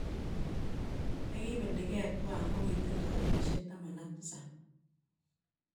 Ne kibeligei tuan kogitindo kenyisiek 17.